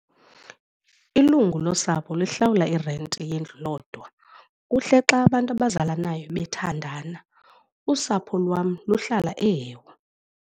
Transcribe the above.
Ilungu losapho lihlawula irenti yendlu lodwa. Kuhle xa abantu abazalanayo bethandana, usapho lwam luhlala eHewu.